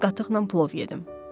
Biraz qatıqla plov yedim.